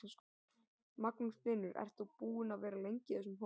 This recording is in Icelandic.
Magnús Hlynur: Ert þú búinn að vera lengi í þessum hóp?